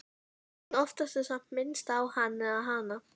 En oftast er samt minnst á Hann eða Hana.